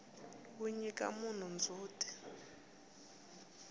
wu nyika munhu ndzhuti